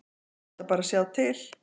Ætla bara að sjá til.